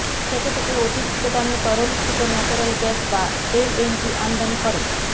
থেকে এখন অতিরিক্ত দামে তরলীকৃত ন্যাচারাল গ্যাস বা এলএনজি আমদানি করে